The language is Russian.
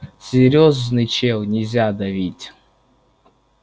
серьёзный чел нельзя давить